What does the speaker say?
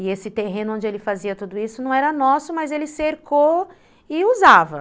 E esse terreno onde ele fazia tudo isso não era nosso, mas ele cercou e usava.